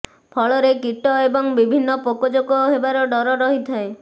ଫଳରେ କୀଟ ଏବଂ ବିଭିନ୍ନ ପୋକଜୋକ ହେବାର ଡ଼ର ରହିଥାଏ